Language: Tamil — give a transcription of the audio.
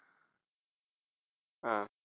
அஹ்